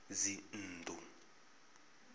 dzinnḓu